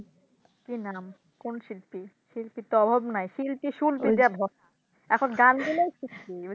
কি নাম কোন শিল্পী শিল্পীর তো অভাব নাই শিল্পী সুল্পী যেমন এখন গান গাইলেই শিল্পী